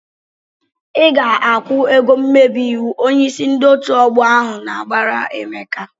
"Ị ga-akwụ ego mmebi iwu!" Onyeisi ndị otu ọgbọ ahụ na-abara Emeka.